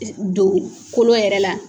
Don kolo yɛrɛ la.